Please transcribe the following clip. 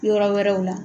Yɔrɔ wɛrɛw la